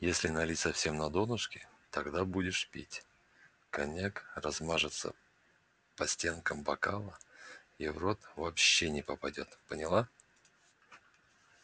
если налить совсем на донышко то когда будешь пить коньяк размажется по стенкам бокала и в рот вообще не попадёт поняла